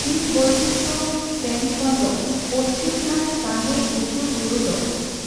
ᱡᱤᱵᱽᱵᱳᱭᱪᱤᱛᱨᱚ ᱥᱮᱱ ᱠᱷᱚᱱ ᱫᱚ ᱯᱚᱪᱷᱤᱢᱜᱷᱟᱴ ᱥᱟᱸᱜᱮ ᱩᱥᱩᱞ ᱵᱩᱨᱩ ᱫᱚ